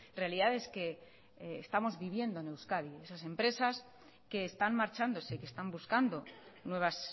realidades que estamos viviendo en euskadi esas empresas que están marchándose que están buscando nuevas